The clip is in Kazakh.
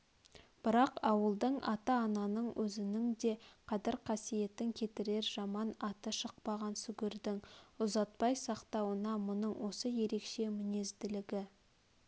бірақ ауылдың ата-ананың өзнің де қадір-қасиетін кетірер жаманаты шықпаған сүгірдің ұзатпай сақтауына мұның осы ерекше мінезділігі